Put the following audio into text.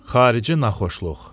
Xarici naxoşluq.